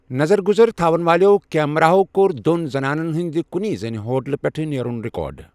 نظر گٗزرتھون والیو كیمراہو کوٛر دون زَنانن ہٗند کُنی زَنی ہوٗٹلہٕ پٮ۪ٹھ نیرٗن رِكارڈ ۔